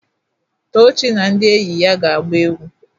Tochi na ndi enyi ya ga-agba egwu.